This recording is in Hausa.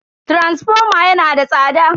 taransifoma yana da tsada.